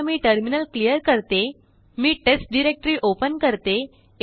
आता मीटर्मिनल क्लिअर करते मीTest डायरेक्टरी ओपन करते